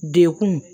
Dekun